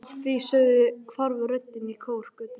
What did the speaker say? Að því sögðu hvarf röddin í kór götunnar.